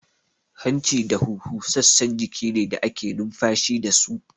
Hanci da huhu sassan jiki ne da ake numfashi dasu